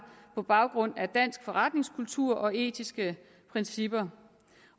på baggrund af dansk forretningskultur og etiske principper